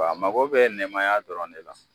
A mago bɛ nɛmaya dɔrɔn de la.